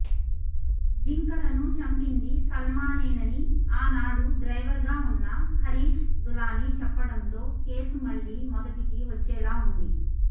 జింకలను చంపింది సలానేనని ఆనాడు డ్రైవర్గా ఉన్న హరీష్ దులానీ చెప్పడంతో కేసు మళ్లీ మొదటికి వచ్చేలా ఉంది